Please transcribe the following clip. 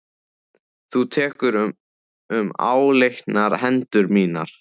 Þú tekur um áleitnar hendur mínar.